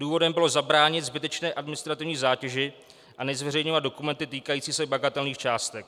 Důvodem bylo zabránit zbytečné administrativní zátěži a nezveřejňovat dokumenty týkající se bagatelních částek.